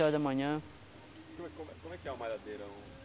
horas da manhã. Como como é que é a malhadeira?